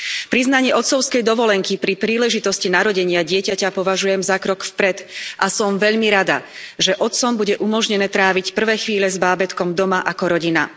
Priznanie otcovskej dovolenky pri príležitosti narodenia dieťaťa považujem za krok vpred a som veľmi rada, že otcom bude umožnené tráviť prvé chvíle s bábätkom doma ako rodina.